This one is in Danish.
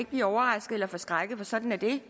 blive overrasket eller forskrækket for sådan er det